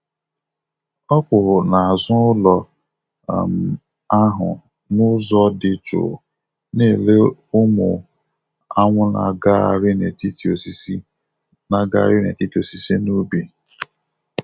Ọ kwụ n'azụ ụlọ um ahụ n'ụzọ dị jụụ, na-ele ụmụ anwụ na-agagharị n’etiti osisi na-agagharị n’etiti osisi n’ubi.